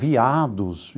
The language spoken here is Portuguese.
Veados.